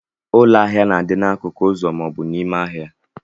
Ụlọ ahia na adi anọ na akukụ ụzọ ma obu n'ime ahia.